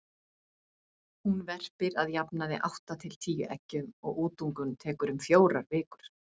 Hún verpir að jafnaði átta til tíu eggjum og útungun tekur um fjórar vikur.